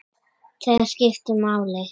Þær skiptu máli.